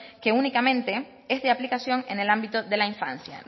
que únicamente es de aplicación en el ámbito de la infancia